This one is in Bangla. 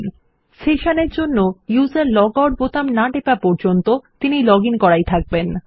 যেহেতু আমরা সেশন ব্যবহার করছি যতক্ষণ না লগআউট বোতাম টেপা হচ্ছে ব্যবহারকারী ততক্ষণ logged আইএন ই থাকবেন